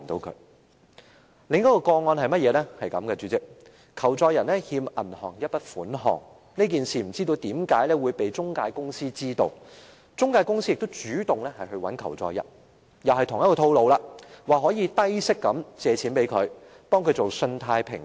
主席，另一宗個案是這樣的，求助人欠銀行一筆款項，這件事不知為何被中介公司知道了，中介公司主動聯絡求助人——同一個套路，說能提供低息借貸，為他進行信貸評級。